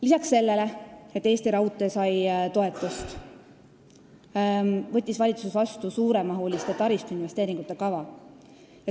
Lisaks sellele, et Eesti Raudtee sai toetust, võttis valitsus vastu suuremahuliste taristuinvesteeringute kava.